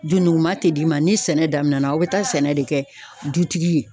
Dunukuman tɛ d'i ma. Ni sɛnɛ daminɛna aw be taa sɛnɛ de kɛ dutigi ye.